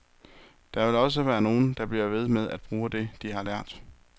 Der vil også være nogen, der bliver ved med at bruge det, de har lært.